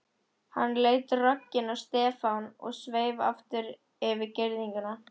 Hann leit rogginn á Stefán og sveif aftur yfir girðinguna.